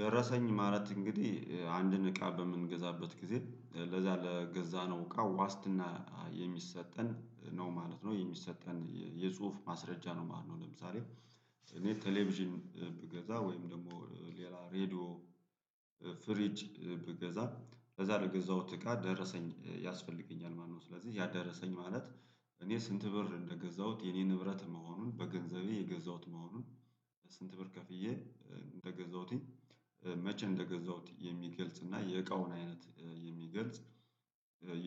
ደረሰኝ ማለት እንግዲህ አንድን እቃ በምንገዛበት ጊዜ ለዛ ለገዛነው እቃ ዋስትና የሚሰጠን ነው ማለት ነው የሚሰጠን የጽሁፍ ማስረጃ ነው ማለት ነው። ለምሳሌ እኔ ቴሌቪዥን ብገዛ ወይም ደግሞ ሌላ ሬድዮ ደረሰኝ። ማለት እንግዲህ አንድን እቃ በምንገዛበት ጊዜ ለዛ ለገዛነው እቃ ዋስትና የሚሰጠን ነው ማለት ነው የሚሰጠን የጽሁፍ ማስረጃ ነው ማለት ነው። ለምሳሌ እኔ ቴሌቪዥን ብገዛ ወይም ደግሞ ሌላ ሬድዮ ስንት ብር ከፍዬ እንደገዛሁትኝ መቼ እንደገዛሁት የሚገልጽ እና የእቃውን አይነት የሚገልጽ